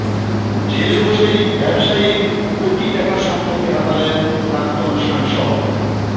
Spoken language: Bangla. জেলে বসেই ব্যবসায়ীর কোটি টাকার সম্পত্তি হাতালেন প্রাক্তন সাংসদ